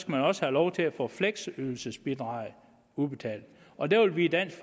man også have lov til at få fleksydelsesbidraget udbetalt og der vil vi i dansk